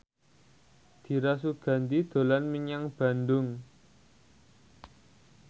Dira Sugandi dolan menyang Bandung